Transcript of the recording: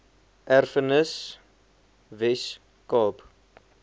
erfenis wes kaap